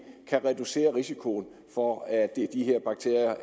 kan reducere risikoen for at de her bakterier